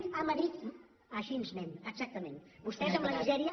a madrid així anem exactament vostès amb la misèria